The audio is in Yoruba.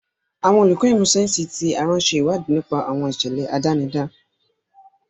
Àwọn olùkọ́ ìmọ̀ sáyẹ́sì ti ara ń ṣe ìwádìí nípa àwọn ìṣẹ̀lẹ̀ àdánidá.